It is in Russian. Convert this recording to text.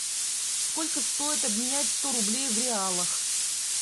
сколько стоит обменять сто рублей в реалах